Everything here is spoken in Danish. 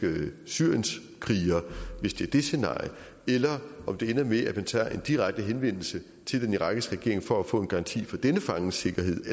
syrienskriger hvis det er det scenarie eller om det ender med at man tager en direkte henvendelse til den irakiske regering for at få en garanti for denne fanges sikkerhed